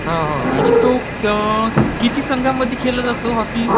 आणि किती संघांमध्ये खेळला जातो हॉकी?